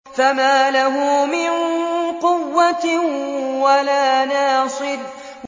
فَمَا لَهُ مِن قُوَّةٍ وَلَا نَاصِرٍ